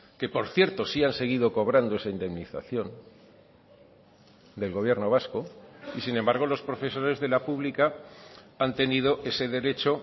que por cierto sí han seguido cobrando esa indemnización del gobierno vasco y sin embargo los profesores de la pública han tenido ese derecho